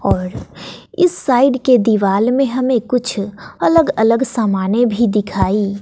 और इस साइड के दीवाल में हमें कुछ अलग अलग सामाने भी दिखाई--